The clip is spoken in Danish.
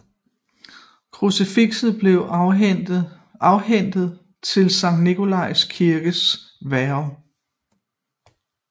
Krucifixet blev afhændet til Sankt Nikolajs Kirkes værge